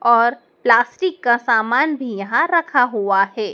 और प्लास्टिक का सामान भी यहां रखा हुआ है।